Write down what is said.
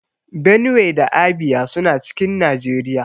Benue da Abia suna cikin Nageriya